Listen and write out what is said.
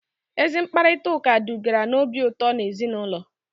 Ezi mkparịtaụka dugara n'obi ụtọ n'ezinụlọ